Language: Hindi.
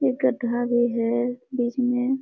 एक गड्ढा भी है बीच में।